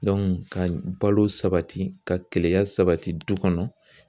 ka balo sabati ka keleya sabati du kɔnɔ